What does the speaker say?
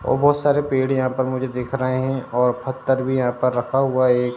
और बहोत सारे पेड़ यहा पर मुझे दिख रहे हैं और पत्थर भी यहा पर रखा हुआ है एक।